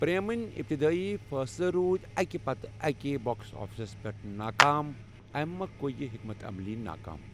پریمٕنۍ ابتدٲئی فٲصلہٕ روٗدۍ اَکہِ پتہٕ اَکہِ باکس آفسَس پٮ۪ٹھ ناکام، اَمی مۄکھٕ گٔیہِ یہِ حکمتہِ عملی ناکام۔